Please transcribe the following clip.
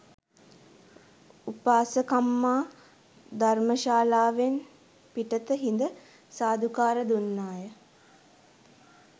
උපාසකම්මා ධර්මශාලාවෙන් පිටත හිඳ සාධුකාර දුන්නාය